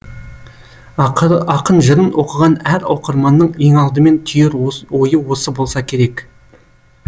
ақын жырын оқыған әр оқырманның еңалдымен түйер ойы осы болса керек